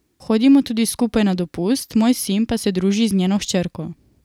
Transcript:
Hodimo tudi skupaj na dopust, moj sin pa se druži z njeno hčerko.